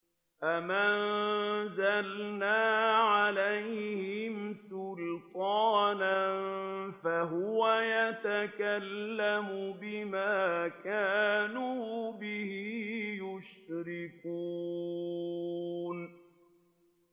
أَمْ أَنزَلْنَا عَلَيْهِمْ سُلْطَانًا فَهُوَ يَتَكَلَّمُ بِمَا كَانُوا بِهِ يُشْرِكُونَ